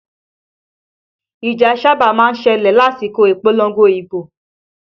Ìjà sáábà má ń ṣẹlẹ̀ lásìkò ìpolongo ibo